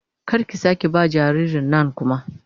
Kar ki sake ba ma jaririn nan kuma